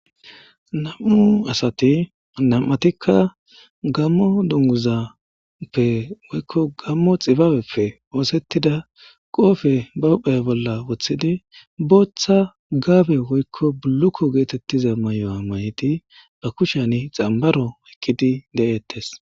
nam7u asati nam7atikka gammo dunguzappe woykko gammo xibaabeppe woosettida qoofe ba huphaya bolla woththidi booththa gaabe woykko bulukko geetettiza may7oa mayidi ba kushan xambaro woykkidi de7eettes